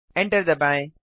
enter दबाएँ